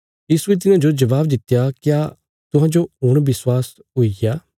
यीशुये तिन्हांजो जबाब दित्या क्या तुहांजो हुण विश्वास हुईग्या